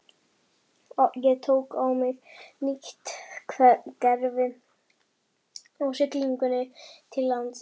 Ég tók á mig nýtt gervi á siglingunni til Íslands.